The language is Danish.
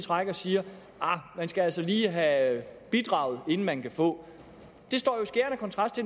rækker siger ahr man skal altså lige have bidraget inden man kan få det står jo i skærende kontrast